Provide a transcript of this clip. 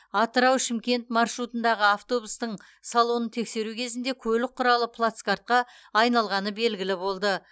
атырау шымкент маршрутындағы автобустың салонын тексеру кезінде көлік құралы плацкартқа айналғаны белгілі болды